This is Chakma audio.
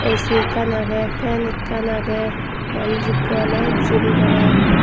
A_C ekkan aagey fan ekan aagey manus eko ole gym gorer.